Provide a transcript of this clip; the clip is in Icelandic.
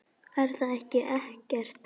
Er það ekki Eggert?